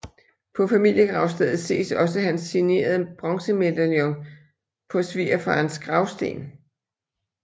På familiegravstedet ses også hans signerede bronzemedaljon på svigerfarens gravsten